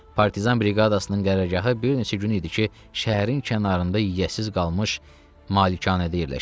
Partizan briqadasının qərargahı bir neçə gün idi ki, şəhərin kənarında yiyəsiz qalmış malikanədə yerləşirdi.